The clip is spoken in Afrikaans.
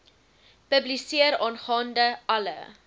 publiseer aangaande alle